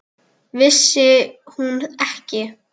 Vissi hún ekki?